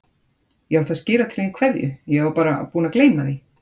Ég átti að skila til þín kveðju, ég var bara búin að gleyma því.